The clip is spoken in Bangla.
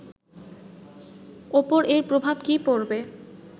ওপর এর প্রভাব কী পড়বে